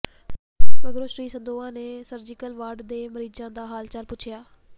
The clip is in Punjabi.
ਮਗਰੋਂ ਸ੍ਰੀ ਸੰਦੋਆ ਨੇ ਸਰਜੀਕਲ ਵਾਰਡ ਦੇ ਮਰੀਜ਼ਾਂ ਦਾ ਹਾਲ ਚਾਲ ਪੁੱਛਿਆ